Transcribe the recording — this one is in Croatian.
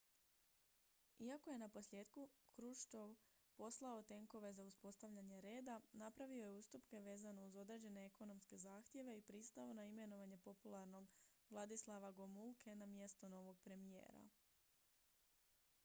iako je naposljetku hruščov poslao tenkove za uspostavljanje reda napravio je ustupke vezano uz određene ekonomske zahtjeve i pristao na imenovanje popularnog wladyslawa gomulke na mjesto novog premijera